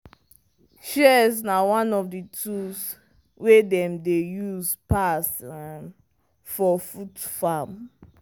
shears na one of the tools wey dem dey use pass for fruit farm.